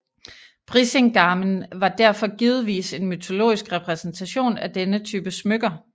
Brísingamen var derfor givetvis en mytologisk repræsentation af denne type smykker